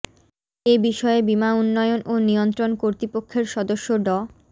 এ বিষয়ে বীমা উন্নয়ন ও নিয়ন্ত্রণ কর্তৃপক্ষের সদস্য ড